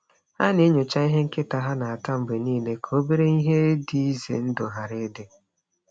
Ha na-enyocha ihe nkịta ha na-ata mgbe niile ka obere ihe dị ize ndụ ghara ịdị.